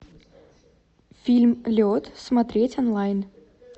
фильм лед смотреть онлайн